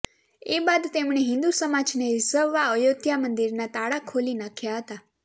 એ બાદ તેમણે હિંદુ સમાજને રિઝવવા અયોધ્યા મંદિરના તાળા ખોલી નાખ્યા હતા